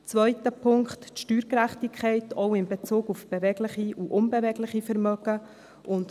Zweiter Punkt: die Steuergerechtigkeit, auch in Bezug auf bewegliche und unbewegliche Vermögen.